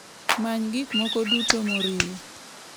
Many gik moko duto moriwo.